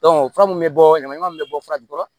fura mun bɛ bɔ ɲaman min bɛ bɔ furaji kɔrɔ